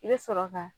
I bɛ sɔrɔ ka